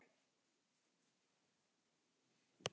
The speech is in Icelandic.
Það rigndi enn úti.